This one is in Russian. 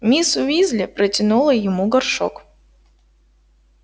миссис уизли протянула ему горшок